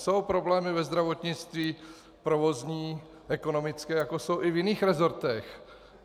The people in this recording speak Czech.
Jsou problémy ve zdravotnictví, provozní, ekonomické, jako jsou i v jiných resortech.